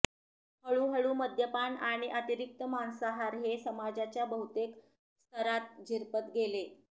हळूहळू मद्यपान आणि अतिरिक्त मांसाहार हे समाजाच्या बहुतेक स्तरांत झिरपत गेले